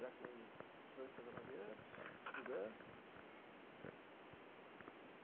já com dezoito para dezenove anos, estudando.